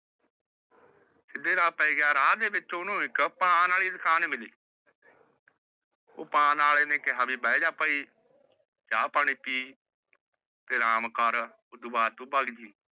ਪੈ ਗਯਾ ਰਾਹ ਦੇ ਵਿਚ ਓਹਨੁ ਇਕ ਪਾਨ ਆਲੀ ਦੁਕਾਨ ਮਿਲੀ ਓਹ ਪਾਨ ਆਲੇ ਆਲੇ ਨੇ ਕਿਹਾ ਵੀ ਬੈਹ ਜਾ ਭਾਇ ਚਾਹ ਪਾਣੀ ਪੀ ਤੇ ਆਰਾਮ ਕਰ ਓਹਦੇ ਬਾਦ ਤੂੰ ਭਗ ਜਯੀ